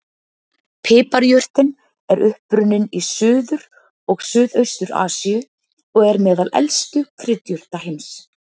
Piparjurtin er upprunninn í Suður- og Suðaustur-Asíu og er meðal elstu kryddjurta heims.